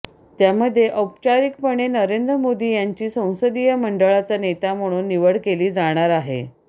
त्यामध्ये औपचारिकपणे नरेंद्र मोदी यांची संसदीय मंडळाचा नेता म्हणून निवड केली जाणार आहे